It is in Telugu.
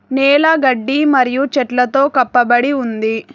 నేల గడ్డి మరియు చెట్లతో కప్పబడి ఉంది.